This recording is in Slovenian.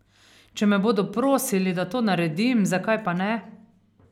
Če me bodo prosili, da to naredim, zakaj pa ne?